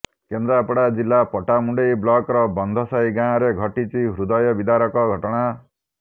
କେନ୍ଦ୍ରାପଡ଼ା ଜିଲ୍ଲା ପଟ୍ଟାମୁଣ୍ଡାଇ ବ୍ଲକର ବନ୍ଧସାହି ଗାଁରେ ଘଟିଛି ହୃଦୟବିଦାରକ ଘଟଣା